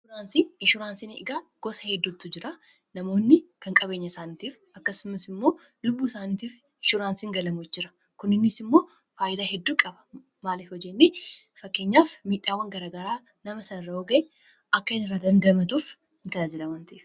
Inshuraansii, inshuraansiin egaa gosa hedduutu jira namoonni kan qabeenya isaaniitiif akkasumas immoo lubbuu isaaniitiif inshuraansiiin galamutu jira kunninnis immoo faayidaa hedduu qaba maaliif Yoo jenne fakkeenyaaf miidhaawwan garagaraa nama sanarra yoo ga'e akka inni irraa dandamatuuf ni tajaajila waan ta'eef.